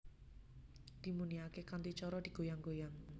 Dimuniake kanthi cara digoyang goyang